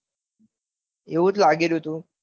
એવું જ લાગી રહ્યું હતું